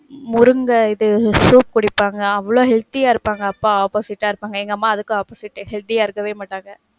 முருங்க இது, soup குடிப்பாங்க. அவ்வளவு healthy ஆ இருப்பாங்க அப்பா opposite ஆ இருப்பாங்க. எங்க அம்மா அதுக்கு opposite, healthy ஆ இருக்கவே மாட்டாங்க.